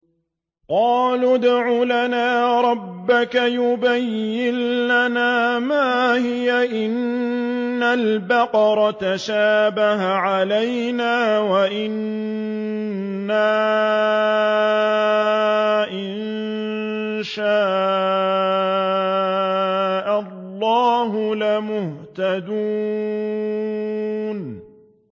قَالُوا ادْعُ لَنَا رَبَّكَ يُبَيِّن لَّنَا مَا هِيَ إِنَّ الْبَقَرَ تَشَابَهَ عَلَيْنَا وَإِنَّا إِن شَاءَ اللَّهُ لَمُهْتَدُونَ